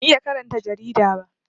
Ban iya karanta jarida ba